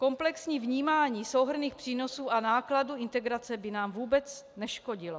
Komplexní vnímání souhrnných přínosů a nákladů integrace by nám vůbec neškodilo.